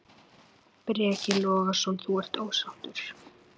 Breki Logason: Þú ert ósáttur?